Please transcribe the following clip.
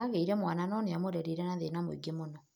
Agĩire mwana no namũrerire na thĩna mũingĩ mũno.